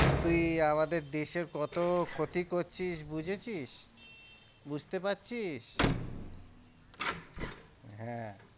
তুই আমাদের দেশের কত ক্ষতি করছিস বুঝেছিস? বুঝতে পারছিস? হ্যাঁ